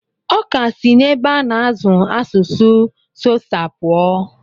Ọ ka si n'ebe a na-azụ asụsụ Xhosa puo.